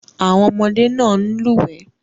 Àwọn ọmọdé náà ń lúwẹ̀ẹ́.